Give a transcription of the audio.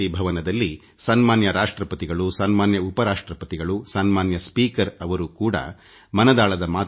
ಗೌರವಾನ್ವಿತ ರಾಷ್ಟ್ರಪತಿಯವರುಗೌರವಾನ್ವಿತ ಉಪ ರಾಷ್ಟ್ರಪತಿಯವರು ಮಾನ್ಯ ಸ್ಪೀಕರ್ ಪಾಲ್ಗೊಂಡಿದ್ದರು